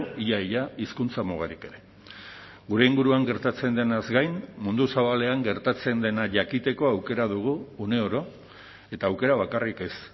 ia ia hizkuntza mugarik ere gure inguruan gertatzen denaz gain mundu zabalean gertatzen dena jakiteko aukera dugu uneoro eta aukera bakarrik ez